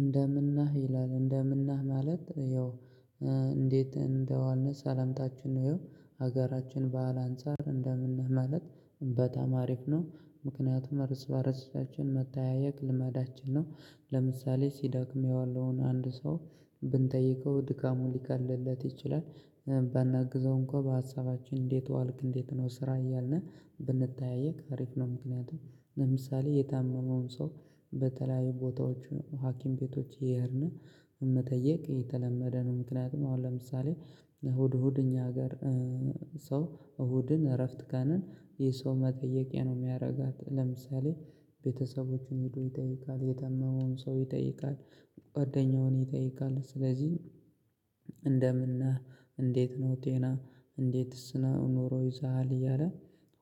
እንደምን ነህ ይላል እንደምን ነህ ማለት ያው እንዴት እንደዋልን ሰላምታችን ነው። ያው ሀገራችን በሀል አንፃር እንደምን ማለት በጣም አሪፍ ነው ምክንያቱም እርስ በእርሳችን መተያየት ልመዳችን ነው። ለምሳሌ ሲዳክም የዋለውን አንድ ሰው ብንጠይቀው ድካሙን ሊቀልልለት ይችላል። ባናግዘው እንኳን በሀሳባችን እንዴት ዋልክ እንዴት ነው ስራ እያልን ብንጠያየቅ አሪፍ ነው። ምክንያቱም ለምሳሌ የታመመውን ሰው በተለያዩ ቦታዎች ሀኪም ቤቶች እየሄድን መጠየቅ የተለመደ ነው። ምክንያቱም አሁን ለምሳሌ እሁድ እሁድ እኛ ሀገር ሰው እሁድን እረፍት ቀንን የሰው መጠየቂያ ነው። የሚያደርጋት ለምሳሌ ቤተሰቦችን ሄዶ ይጠይቃል የተመመውን ሰው ይጠይቃል። ጓደኛውን ይጠይቃል ስለዚህ እንደምን ነህ እንዴት ነው ጤና እንዴትስ ነው ኑሮ ይዞሃል እያለ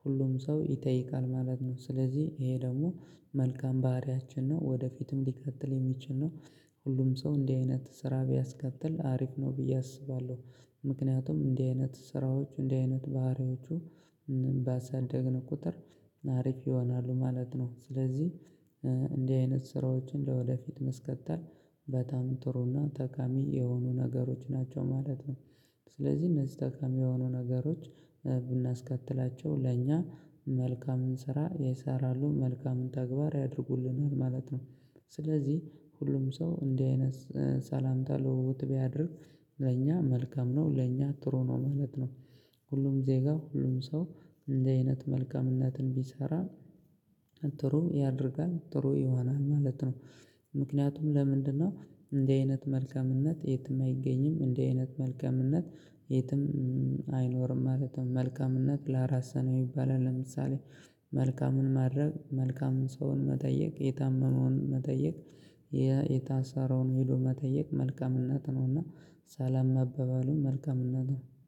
ሁሉም ሰው ይጠይቃል ማለት ነው። ስለዚህ ይሄ ደግሞ መልካም ባህሪያችን ነው ወደፊትም ሊቀጥል የሚችል ነው። ሁሉም ሰው እንዲህ አይነት ስራ ቢያስከትል አሪፍ ነው ብዬ አስባለሁ። ምክንያቱም እንዲህ አይነት ስራዎች እንዲህ አይነት ባህሪዎቹ ባሳደግን ቁጥር አሪፍ ይሆናሉ ማለት ነው። ስለዚህ እንዲህ አይነት ስራዎችን ለወደፊት ማስቀጠል በጣም ጥሩና ጠካሚ የሆኑ ነገሮች ናቸው ማለት ነው። ስለዚህ እነዚህ ጠቃሚ የሆኑ ነገሮች ብናስከትላቸው ለእኛ መልካምን ስራ ይሰራሉ መልካምን ተግባር ያድርጉልናል ማለት ነው። ስለዚህ ሁሉም ሰው እንዲህ አይነት ሰላምታ ልውውጥ ቢያደርግ ለኛ መልካም ነው ለኛ ጥሩ ነው ማለት ነው። ሁሉም ዜጋ ሁሉም ሰው እንዲህ አይነት መልካምነትን ቢሰራ ጥሩ ያደርጋል ጥሩ ይሆናል ማለት ነው። ምክንያቱም ለምንድነው? እንዲህ አይነት መልከምነት የትም አይገኝም እንዲህ አይነት መልካምነት የትም አይኖርም ማለትም መልካምነት ለራስህ ነው ይባላል። ለምሳሌ መልካሙን ማድረግ መልካሙን ሰውን መጠየቅ የታመመውን መጠየቅ የታሰረውን ሄዶ መጠየቅ መልከምነት ነውና። ሰላም መባባሉ መልከምነት ነው